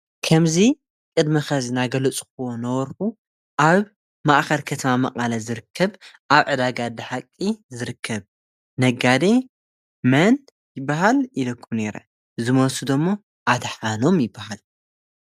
ከም ጠረጴዛ፣ መንበር፣ ዓራት ዝኣመሰሉ ናይ ፍርናሽ ኣቑሑት ዝገዝኡን ዝሸጡን ትካላት ንግዲ እዮም። ንገዛውቲ፡ ኣብያተ ጽሕፈትን ንግዳዊ ቦታታትን ዝኸውን ፍርናሽ የቕርቡ። ነጋዶ ፍርናሽ ብሾውሩም፡ ድኳናት ወይ ብኢንተርነት መድረኻት ክሰርሑ ይኽእሉ።